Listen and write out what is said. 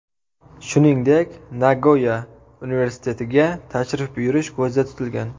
Shuningdek, Nagoya universitetiga tashrif buyurish ko‘zda tutilgan.